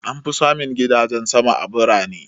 An fi samun gidajen sama a birane.